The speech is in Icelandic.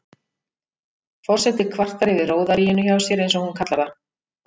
Forseti kvartar yfir róðaríinu hjá sér, eins og hún kallar það.